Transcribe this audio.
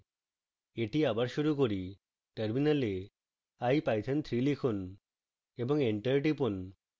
এটি আবার শুরু করি